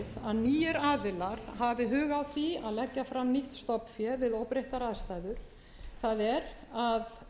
að nýir aðilar hafi hug á því að leggja fram nýtt stofnfé við óbreyttar aðstæður það er að